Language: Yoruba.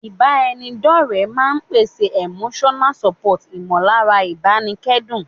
Ìbára ẹni dọ́ọ̀rẹ́ máa n pèsè Emotional support ìmọ̀lára ìbánikẹ́dùn